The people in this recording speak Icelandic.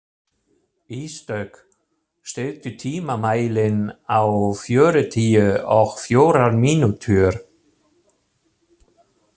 Ísdögg, stilltu tímamælinn á fjörutíu og fjórar mínútur.